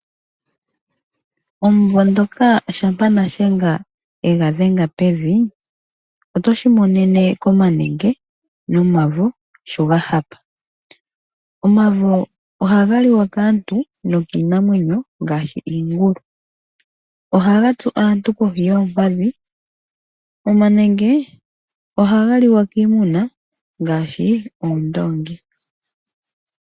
Omumvo ngoka shampa nashenga egadhenga pevi, otoshimonene komanenge nomavo sho ga hapa, omavo ohaga liwa kaantu nokiinamwenyo ngaashi iingulu. Ohagatsu aantu kohi yoompadhi, omanenge ohaga liwa kiimuna ngaashi oondoongi.